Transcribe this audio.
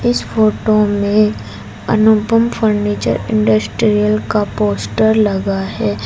इस फोटो में Anupam furniture industries का पोस्टर लगा है।